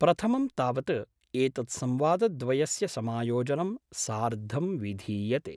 प्रथमं तावत् एतत् संवादद्वयस्य समायोजनं सार्धं विधीयते।